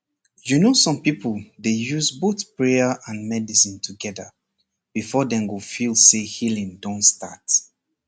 you know some people dey use both prayer and medicine together before dem go feel say healing don start